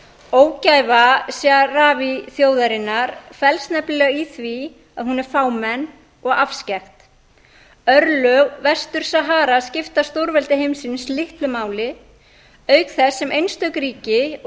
ógæfa sahrawi þjóðarinnar felst nefnilega í því að hún er fámennt og afskekkt örlög vestur sahara skipta stórveldi heimsins litlu máli auk þess sem einstök ríki og